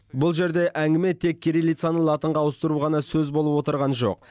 бұл жерде әңгіме тек кириллицаны латынға ауыстыру ғана сөз болып отырған жоқ